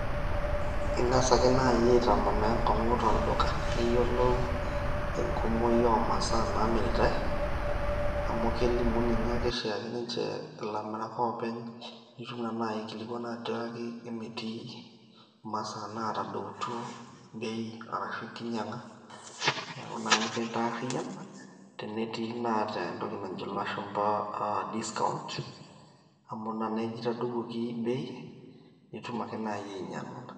Ing'as ake naai aitamanaa enkong'u tolduka, piiyiolou enkumoi ooh masaa naamiritae, amu kelimu ninye ake oshiake ninche ilamirak oopeny nitum naa naai aikilikuana atiaki emetii imasaa naatadoutuo bei arashu enkinyang'a, neeku naa nikintaariyian tenetii naata entoki najo ilashumba aaah discount amu ina neeji eitaduwuoki bei, nitum ake naaji ainyang'u ina.